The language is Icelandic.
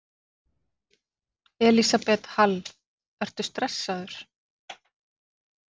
Elísabet Hall: Ertu stressaður?